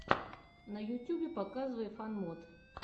на ютюбе показывай фан мод